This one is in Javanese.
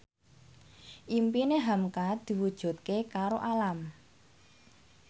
impine hamka diwujudke karo Alam